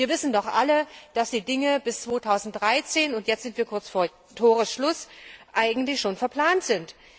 Wir wissen doch alle, dass die Dinge bis 2013 und jetzt sind wir kurz vor Toresschluss eigentlich schon verplant sind.